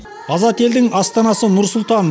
азат елдің астанасы нұр сұлтан